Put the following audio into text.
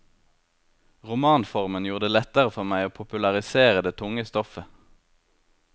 Romanformen gjorde det lettere for meg å popularisere det tunge stoffet.